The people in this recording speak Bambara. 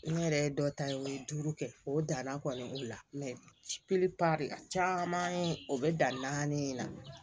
N yɛrɛ ye dɔ ta o ye duuru kɛ o danna kɔni bila la caman o bɛ danni in na